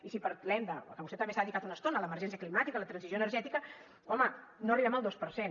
i si parlem de que vostè també s’hi ha dedicat una estona l’emergència climàtica la transició energètica home no arribem al dos per cent